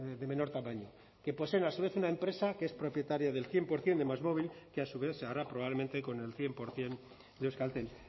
de menor tamaño que poseen a su vez una empresa que es propietaria del cien por ciento de másmovil que a su vez se hará probablemente con el cien por ciento de euskaltel